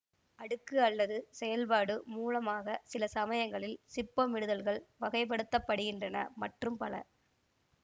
அடுக்கு அல்லது செயல்பாடு மூலமாக சிலசமயங்களில் சிப்பமிடுதல்கள் வகை படுத்த படுகின்றன மற்றும் பல